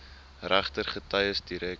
regter getuies direk